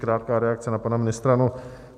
Krátká reakce na pana ministra.